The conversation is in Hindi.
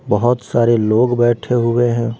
बहोत सारे लोग बैठे हुए हैं।